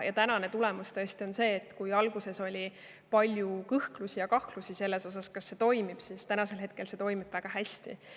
Ja tänane tulemus tõesti on see, et kui alguses oli palju kõhklusi ja kahtlusi, kas see toimib, siis hetkel see toimib väga hästi.